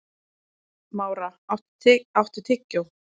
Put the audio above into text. Mára, áttu tyggjó?